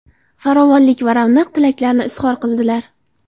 farovonlik va ravnaq tilaklarini izhor qildilar.